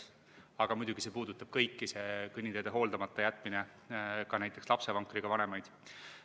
Aga muidugi see puudutab kõiki, see kõnniteede hooldamata jätmine, ka näiteks lapsevankriga vanemaid.